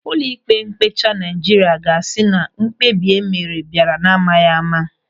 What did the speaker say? Ụlọịkpe mkpecha Naịjirịa ga-asị na mkpebi e mere bịara n'amaghị ama.